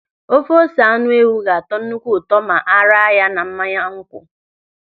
Ofe ose anụ ewụ ga-atọ nnukwu ụtọ ma a raa ya na mmanya nkwụ.